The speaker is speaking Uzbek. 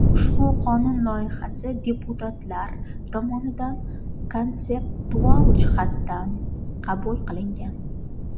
Ushbu qonun loyihasi deputatlar tomonidan konseptual jihatdan qabul qilingan.